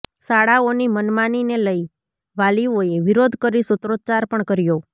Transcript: શાળાઓની મનમાનીને લઈ વાલીઓએ વિરોધ કરી સૂત્રાચ્ચાર પણ કર્યો